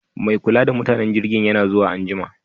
Me kula da mutanen jirgin yana zuwa anjima